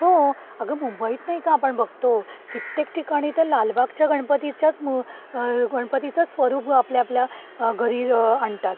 हो अगं मुंबईत एक आपण बघतो कित्येक ठिकाणी तर लालबाग च्या गणपती च्या मूळ गणपती चे स्वरूप आपल्या घरी आणतात.